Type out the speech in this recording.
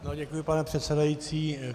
Děkuji, pane předsedající.